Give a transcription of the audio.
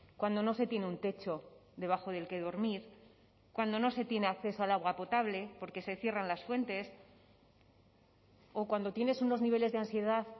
cuando no se tiene un techo debajo del que dormir cuando no se tiene acceso al agua potable porque se cierran las fuentes o cuando tienes unos niveles de ansiedad